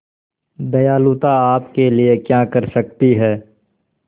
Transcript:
दयालुता आपके लिए क्या कर सकती है